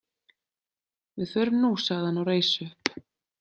Við förum nú, sagði hann og reis upp.